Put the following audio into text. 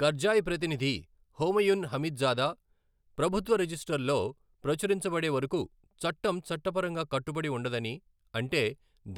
Karzai ప్రతినిధి Homayun Hamidzada, ప్రభుత్వ రిజిస్టర్లో ప్రచురించబడే వరకు చట్టం చట్టపరంగా కట్టుబడి ఉండదని, అంటే